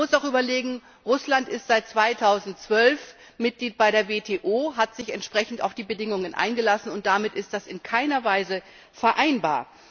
Man muss auch überlegen Russland ist seit 2012 Mitglied bei der WTO, hat sich entsprechend auf die Bedingungen eingelassen, und damit ist das in keiner Weise vereinbar.